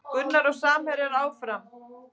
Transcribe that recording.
Gunnar og samherjar áfram